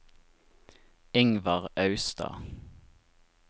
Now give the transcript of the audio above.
Ingvar Austad